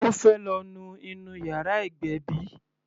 Ó fẹ́ lọ nu inú yàrá ìgbébí.